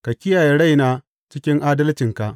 Ka kiyaye raina cikin adalcinka.